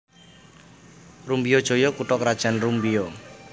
Rumbio Jaya kutha krajan Rumbio